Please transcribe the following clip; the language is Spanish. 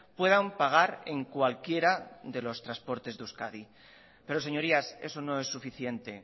puedan pagar en cualquiera de los transportes de euskadi pero señorías eso no es suficiente